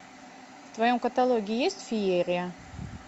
в твоем каталоге есть феерия